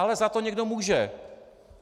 Ale za to někdo může!